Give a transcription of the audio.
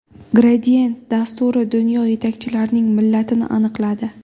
Gradient dasturi dunyo yetakchilarining millatini aniqladi.